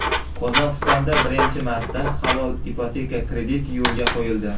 Qozog‘istonda birinchi marta halol ipoteka krediti yo‘lga qo‘yildi.